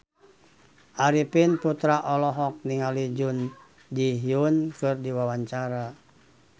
Arifin Putra olohok ningali Jun Ji Hyun keur diwawancara